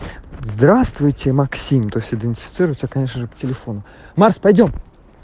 здравствуйте максим то есть идентифицируется конечно же по телефону макс пойдём